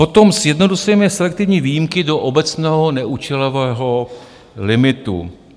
Potom sjednocujeme selektivní výjimky do obecného neúčelového limitu.